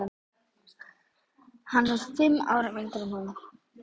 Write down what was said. Hann er fimm árum yngri en hún.